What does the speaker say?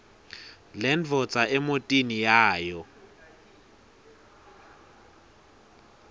lendvodza emotini yayo